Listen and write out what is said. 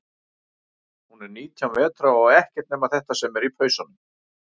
Hún er nítján vetra og á ekkert nema þetta sem er í pausanum.